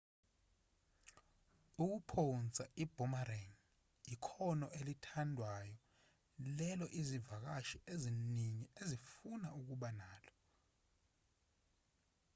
ukuphonsa i-boomerang ikhono elithandwayo lelo izivakashi eziningi ezifuna ukuba nalo